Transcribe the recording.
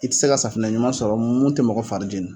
I tɛ se ka safinɛ ɲuman sɔrɔ mun tɛ mɔgɔ fari jɛnni